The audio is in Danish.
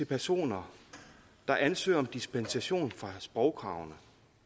personer der ansøger om dispensation fra sprogkravene